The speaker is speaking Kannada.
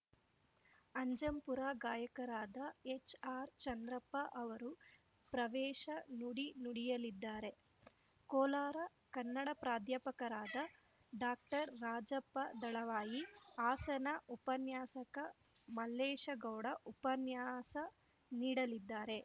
ಅಜ್ಜಂಪುರ ಗಾಯಕರಾದ ಎಚ್‌ಆರ್‌ ಚಂದ್ರಪ್ಪ ಅವರು ಪ್ರವೇಶ ನುಡಿ ನುಡಿಯಲಿದ್ದಾರೆ ಕೋಲಾರ ಕನ್ನಡ ಪ್ರಾಧ್ಯಾಪಕರಾದ ಡಾಕ್ಟರ್ರಾಜಪ್ಪ ದಳವಾಯಿ ಹಾಸನ ಉಪನ್ಯಾಸಕ ಮಲ್ಲೇಶಗೌಡ ಉಪನ್ಯಾಸ ನೀಡಲಿದ್ದಾರೆ